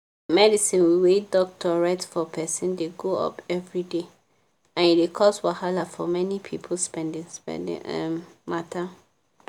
medicine wey doctor write for person dey go-up everyday and e dey cos wahala for many people spendi-spendi um matter.